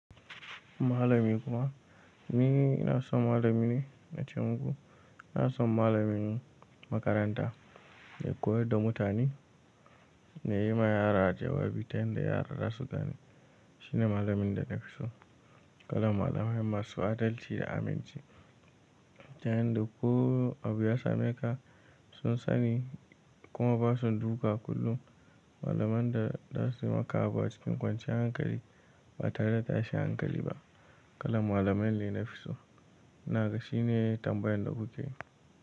Malami kuma, ni na so malami ne na ci gaba. Na so malamin makaranta da me koyar da mutane, da ya yi ma yara jawabi ta hanyar yara za su gane. Shi ne malamin da na fi so. Kalan malamai masu adalci da aminci. Ta yanda da ko abu ya same ka, sun sani kuma ba su durka kullum. Malaman da za su maka abu a cikin kwanciyar hankali, ba tare da tashin hankali ba. Kalan malamai ne na fi so. Na ga shi ne tambayar da kuke yi.